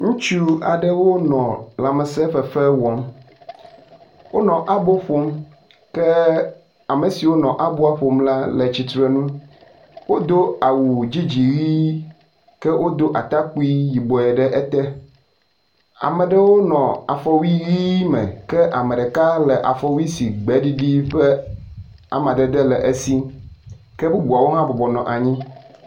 Ŋutsu aɖewo nɔ lãmesẽ fefewo wɔm. Wonɔ abo ƒom ke ame siwo nɔ aboa ƒom la le tsitre ŋu. Wodo awu dzĩdzĩĩĩ ke wodo atakpui yibɔe ɖe ete. Ame aɖewo nɔ afɔwui ʋi me ke ame ɖeka le afɔwui si gbeɖiɖi ƒe amadede le esi. Ke bubuawo hã bɔbɔ nɔ anyi